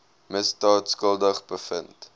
misdaad skuldig bevind